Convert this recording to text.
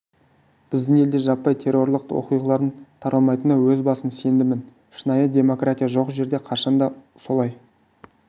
біздің елде жаппай террорлық оқиғалардың таралмайтынына өз басым сенімдімін шынайы демократия жоқ жерде қашан да солай